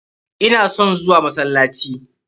Ina son zuwa masallaci.